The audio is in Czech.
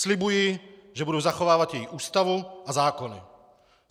Slibuji, že budu zachovávat její Ústavu a zákony.